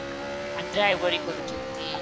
driver କରୁଛନ୍ତି